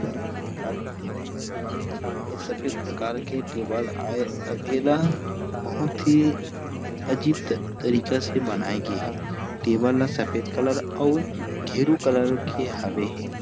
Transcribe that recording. यह सभी प्रकार के टेबल आये अउ ऐ ला बहुत ही अजीब तरीके से बनाए गे हे टेबल सफेद कलर अउ गेरू कलर के हवे हे।